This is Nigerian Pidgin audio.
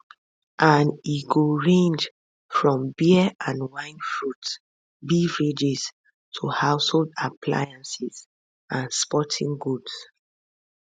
and e go range from beer and wine fruits beverages to household appliances and and sporting goods